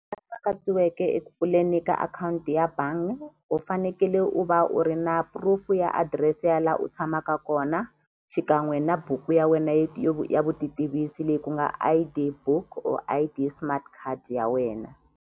eku pfuleni ka akhawunti ya bangi u fanekele u va u ri na proof ya adirese ya la u tshamaka kona xikan'we na buku ya wena ya vutitivisi leyi ku nga I_D book or I_D smart card ya wena.